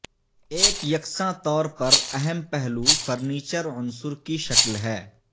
ایک یکساں طور پر اہم پہلو فرنیچر عنصر کی شکل ہے